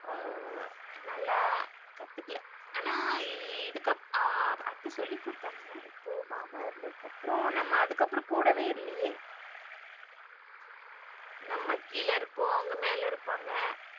ஆ நல்லா கத்துக்கல ஆனா இதுக்க அத்த சொல்லி குடுத்தாங்க. இப்போ மாமா இறந்ததுக்கு அப்புறம் நம்ம அப்புறம் கூடவே இல்லையே நம்ம கீழ இருப்போம் அவங்க மேல இருப்பாங்க.